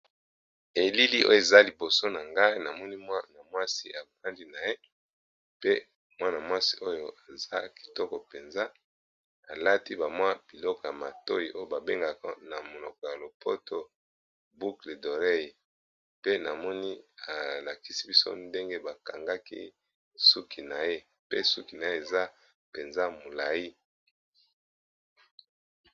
Elili oyo eza liboso na ngai namoni mwa na mwasi abrandi na ye pe mwana-mwasi oyo aza kitoko mpenza alati bamwa biloko ya matoi oyo babengaka na monoko ya lopoto buokle dorey pe namoni alakisi biso ndenge bakangaki pe suki na ye eza mpenza molai.